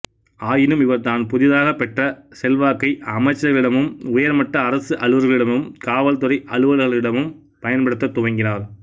ஆயினும் இவர் தான் புதிதாகப் பெற்ற செல்வாக்கை அமைச்சர்களிடமும் உயர்மட்ட அரசு அலுவலர்களிடமும் காவல் துறை அலுவலர்களிடமும் பயன்படுத்தத் துவங்கினார்